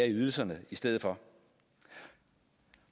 ydelserne i stedet for